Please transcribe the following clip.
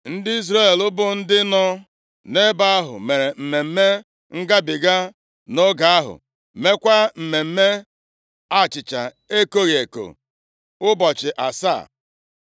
Ndị Izrel bụ ndị nọ nʼebe ahụ mere Mmemme Ngabiga nʼoge ahụ, meekwa mmemme achịcha ekoghị eko ụbọchị asaa.